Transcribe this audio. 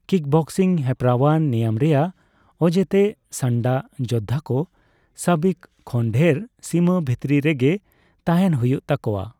Kickboxing ᱦᱮᱯᱨᱟᱣᱟᱱ ᱱᱮᱭᱟᱢ ᱨᱮᱭᱟᱜ ᱚᱡᱮᱛᱮ, ᱥᱟᱱᱰᱟ ᱡᱚᱫᱫᱷᱟ ᱠᱚ ᱥᱟᱵᱤᱠ ᱠᱷᱚᱱ ᱰᱷᱮᱨ ᱥᱤᱢᱟᱹ ᱵᱷᱤᱛᱤᱨ ᱨᱮᱜᱮ ᱛᱟᱦᱮᱸᱱ ᱦᱳᱭᱳᱜ ᱛᱟᱠᱚᱣᱟ ᱾